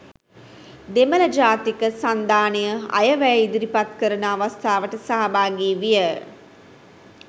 දෙමළ ජාතික සන්ධානය අයවැය ඉදිරිපත් කරන අවස්ථාවට සහභාගී විය